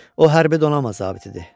O hərbi donanma zabitidir.